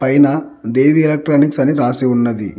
పైనా దేవి ఎలక్ట్రానిక్స్ అని రాసి ఉన్నది.